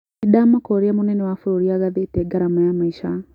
Nĩndamaka ũrĩa mũnene wa bũrũri agathĩte ngarama ya maica.